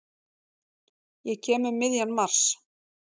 Ég kem um miðjan mars.